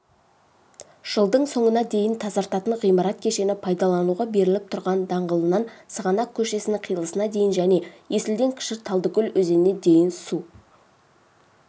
жылдың соңына дейін тазартатын ғимарат кешені пайдалануға беріліп тұран даңғылынан сығанақ көшесінің қиылысына дейін және есілден кіші талдыкөл өзеніне дейін су